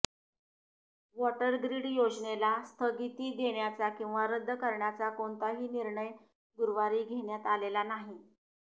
water grid योजनेला स्थगिती देण्याचा किंवा रद्द करण्याचा कोणताही निर्णय गुरुवारी घेण्यात आलेला नाही